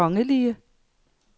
kongelige